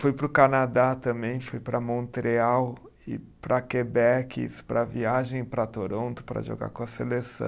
Fui para o Canadá também, fui para Montreal, e para Quebec, para viagem para Toronto para jogar com a seleção.